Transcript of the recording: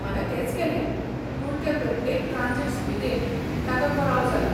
हांवें तेंच केलें, पूण ते प्रत्येक ट्रांजिट सुविदेंत ताका कळाव जाला.